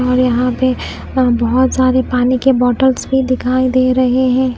और यहां पे बहोत सारे पानी के बॉटल्स भी दिखाई दे रहे हैं।